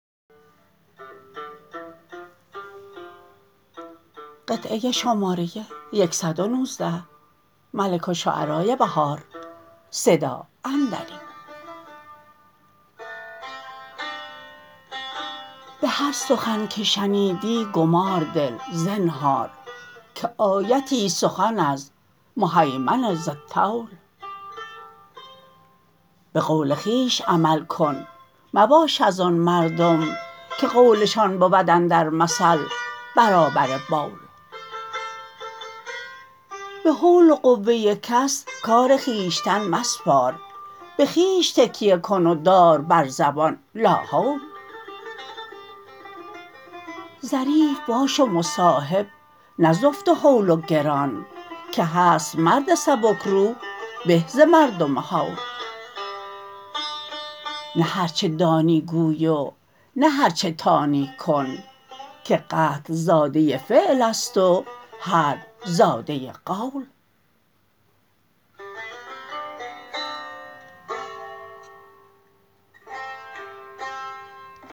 به هر سخن که شنیدی گمار دل زنهار که آیتی است سخن از مهیمن ذی الطول به قول خویش عمل کن مباش از آن مردم که قولشان بود اندر مثل برابر بول به حول و قوه کس کار خویشتن مسپار به خویش تکیه کن و دار بر زبان لاحول ظریف باش و مصاحب نه زفت و هول و گران که هست مرد سبک روح به ز مردم هول نه هرچه دانی گوی و نه هرچه تانی کن که قتل زاده فعل است و حرب زاده قول